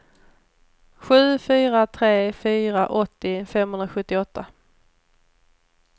sju fyra tre fyra åttio femhundrasjuttioåtta